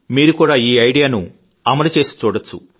మీరు కూడా ఈ ఐడియాను అమలు చేసి చూడవచ్చు